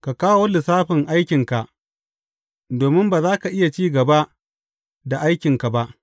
Ka kawo lissafin aikinka, domin ba za ka iya cin gaba da aikinka ba.’